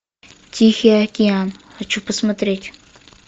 тихий океан хочу посмотреть